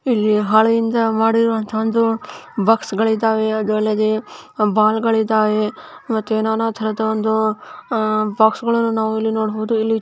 ಇಲ್ಲಿ ಹಾಳೆಯಿಂದ ಮಾಡಿರುವಂತಹ ಒಂದು ಬಾಕ್ಸ್ ಗಳಿದ್ದಾವೆ ಅದರ ಒಳಗೆ ಬಾಲ್ ಗಳಿದ್ದಾವೆ ಮತ್ತೆ ನಾನಾ ತರದ ಒಂದು ಬಾಕ್ಸ್ ಗಳನ್ನು ನಾವು ಇಲ್ಲಿ ನೋಡಬಹುದು.